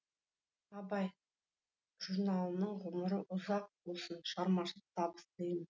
абай журналының ғұмыры ұзақ болсын шығармашылық табыс тілеймін